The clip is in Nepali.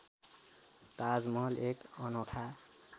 ताजमहल एक अनोखा